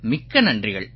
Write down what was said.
மிக்க நன்றிகள்